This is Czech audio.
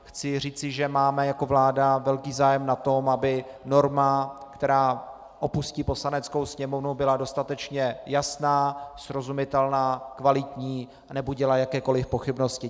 Chci říci, že máme jako vláda velký zájem na tom, aby norma, která opustí Poslaneckou sněmovnu, byla dostatečně jasná, srozumitelná, kvalitní a nebudila jakékoliv pochybnosti.